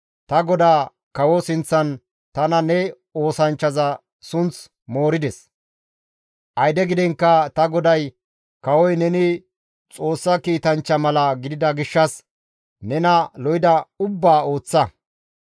Ta godaa kawo sinththan tana ne oosanchchaza sunth moorides; ayde gidiinkka ta goday kawoy neni Xoossa kiitanchcha mala gidida gishshas nena lo7ida ubbaa ooththa.